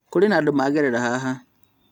Kũrĩ na andũ magerera haha?